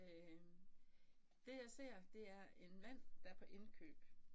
Øh det jer ser det er en mand der er på indkøb